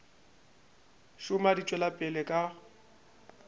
šoma di tšwela pele ka